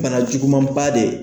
Bana jugumaba dɛ.